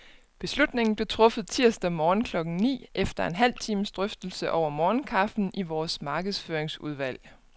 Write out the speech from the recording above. Beslutningen blev truffet tirsdag morgen klokken ni, efter en halv times drøftelse over morgenkaffen i vores markedsføringsudvalg.